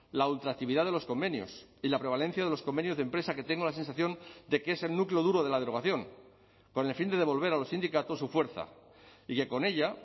la ultraactividad de los convenios y la prevalencia de los convenios de empresa que tengo la sensación de que es el núcleo duro de la derogación con el fin de devolver a los sindicatos su fuerza y que con ella